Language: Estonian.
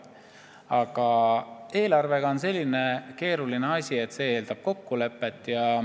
Aga eelarvega on selline keeruline asi, et see eeldab kokkulepet.